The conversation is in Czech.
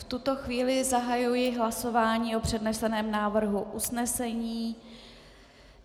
V tuto chvíli zahajuji hlasování o předneseném návrhu usnesení.